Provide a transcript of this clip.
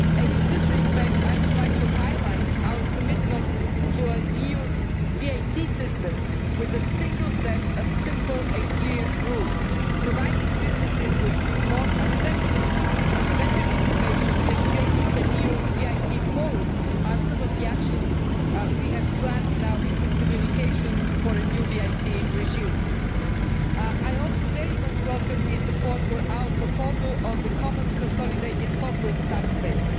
In this respect I would like to highlight our commitment to an EU VAT system with a single set of simple and clear rules providing businesses with more accessible and better information, and creating a new VAT forum these are some of the actions we have planned in our recent communication for a new VAT regime. I also very much welcome the support for our proposal on the common consolidated corporate tax base.